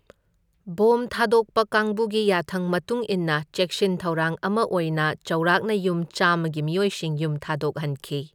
Bomb ꯊꯥꯗꯣꯛꯄ ꯀꯥꯡꯕꯨꯒꯤ ꯌꯥꯊꯪ ꯃꯇꯨꯡ ꯏꯟꯅ ꯆꯦꯛꯁꯤꯟ ꯊꯧꯔꯥꯡ ꯑꯃ ꯑꯣꯏꯅ ꯆꯥꯎꯔꯥꯛꯅ ꯌꯨꯝ ꯆꯥꯝꯃꯒꯤ ꯃꯤꯑꯣꯢꯁꯤꯡ ꯌꯨꯝ ꯊꯥꯗꯣꯛꯍꯟꯈꯤ꯫